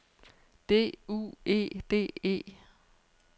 D U E D E